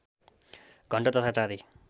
घण्ट तथा चाँदी